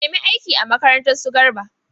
Ki nemi aiki a makarantar su Garba!